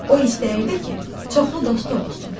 O istəyirdi ki, çoxlu dostu olsun.